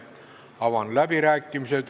Avan läbirääkimised.